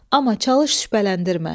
Amma çalış şübhələndirmə.